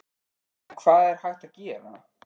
En hvað er hægt að gera?